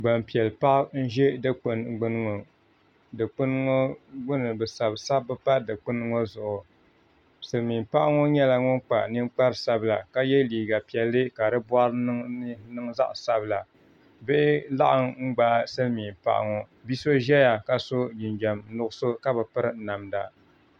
Gbanpiɛli paɣa n ʒɛ dikpuni gbuni ŋɔ bi sabi sabbu pa dikpuni ŋɔ zuɣu silmiin paɣa ŋɔ nyɛla ŋun kpa ninkpari sabila ka yɛ liiga piɛlli kadi boɣari ni niŋ zaɣ sabila bihi laɣam gbaai silmiin paɣa pɔ bia so ʒɛya ka so jinjɛm nuɣso ka bi piri namda